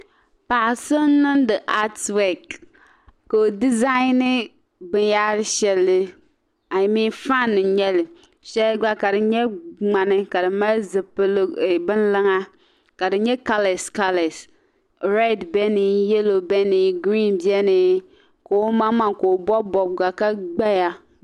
Paɣa so n niŋdi at wek ka ɔdi zani bi n yahiri shɛli fan n nyɛli shɛli gba. ka di nyɛ ŋmani ,ka di mali bin luŋa. kadi nyɛ kalee kalee. read beni yelɔw beni, green beni ka ɔmaŋ maŋa ka gbaya.